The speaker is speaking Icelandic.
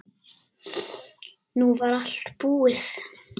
Nú var allt búið.